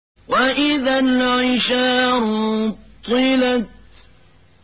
وَإِذَا الْعِشَارُ عُطِّلَتْ